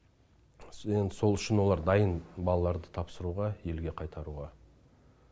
енді сол үшін олар дайын балаларды тапсыруға елге қайтаруға